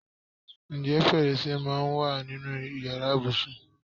Ǹjẹ́ fèrèsé máa ń wà nínú ìyára ibùsùn?